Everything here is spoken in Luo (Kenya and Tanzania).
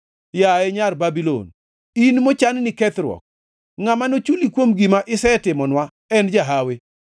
Yaye nyar Babulon, in mochanni kethruok, ngʼama nochuli kuom gima isetimonwa en jahawi,